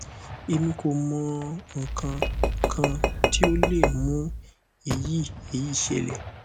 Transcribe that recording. emi ko mo ikan kan ti o le mu eyi eyi sele